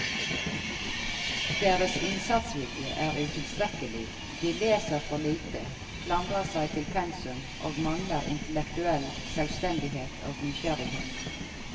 Deres innsatsvilje er utilstrekkelig, de leser for lite, klamrer seg til pensum og mangler intellektuell selvstendighet og nysgjerrighet.